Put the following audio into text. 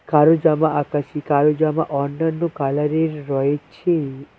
কারোর জামা আকাশী কারোর জামা অন্যান্য কালার -এর রয়েছে।